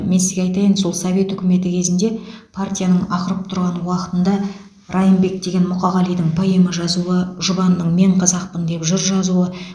мен сізге айтайын сол совет үкіметі кезінде партияның ақырып тұрған уақытында райымбек деген мұқағалидың поэма жазуы жұбанның мен қазақпын деп жыр жазуы